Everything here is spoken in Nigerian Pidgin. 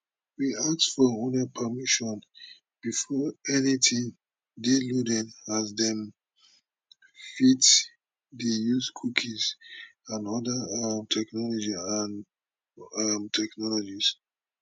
we ask for una permission before anytin dey loaded as dem fit dey use cookies and oda um technologies um technologies